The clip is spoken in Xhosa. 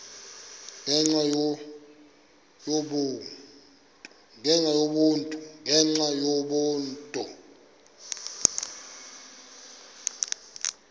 ngenxa yaloo nto